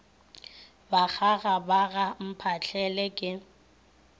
bakgaga ba ga mphahlele ke